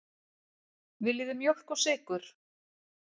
Viljið þið mjólk og sykur?